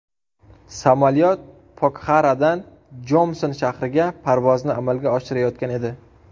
Samolyot Pokxaradan Jomsom shahriga parvozni amalga oshirayotgan edi.